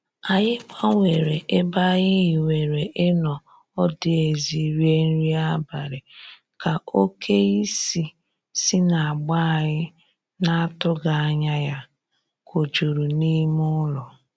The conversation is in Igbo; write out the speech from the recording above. Anyị gbanwere ebe anyị hiwere ịnọ ọdụ ezi rie nri abalị, ka oke isì si n'agba anyị na-atụghị anya ya kojuru n'ime ụlọ.